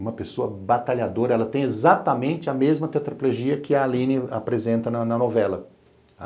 Uma pessoa batalhadora, ela tem exatamente a mesma tetraplegia que a Aline apresenta na novela.